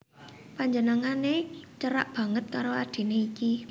Panjenengané cerak banget karo adhiné iki